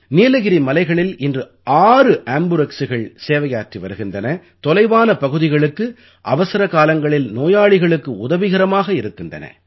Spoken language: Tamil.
நீலகிரி மலைகளில் இன்று 6 ஆம்புரெக்ஸ்கள் சேவையாற்றி வருகின்றன தொலைவான பகுதிகளுக்கு அவசர காலங்களில் நோயாளிகளுக்கு உதவிகரமாக இருக்கின்றன